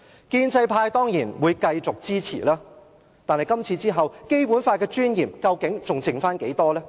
建制派當然會繼續支持《條例草案》，但在今次之後，《基本法》的尊嚴究竟還剩下多少？